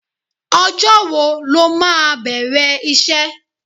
Ọjọ́ wo lo máa bẹ̀rẹ̀ iṣẹ́?